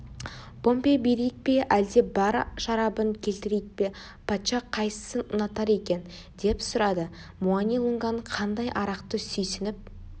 помбе берейік пе әлде бал шарабын келтірейік пе патша қайсысын ұнатар екен деп сұрады муани-лунганың қандай арақты сүйсініп